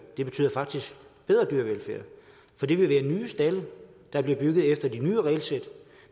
det betyder faktisk bedre dyrevelfærd for det vil være nye stalde der bliver bygget efter de nye regelsæt